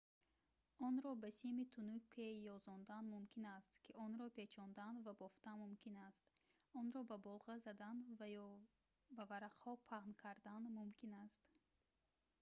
онро ба сими тунуке ёзондан мумкин аст ки онро печондан ва бофтан мумкин аст онро бо болға задан ё ба варақаҳо паҳн кардан мумкин аст